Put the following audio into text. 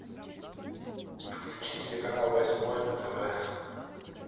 включи телеканал восьмой на тв